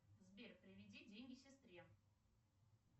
сбер переведи деньги сестре